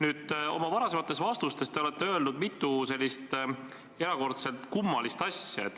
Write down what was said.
Aga oma varasemates vastustes te olete mitu korda öelnud midagi erakordselt kummalist.